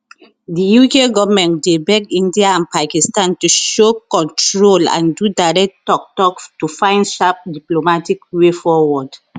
di uk goment dey beg india and pakistan to show control and do direct tok tok to fins sharp diplomatic way forward